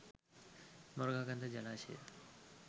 Moragahakanda ජලාශය